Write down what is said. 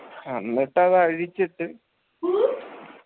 അന്നിട്ടത് അഴിച്ചിട്ട്